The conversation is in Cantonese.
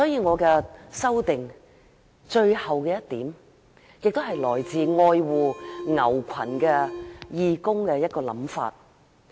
我的修正案的最後一點是來自愛護牛群的義工的想法。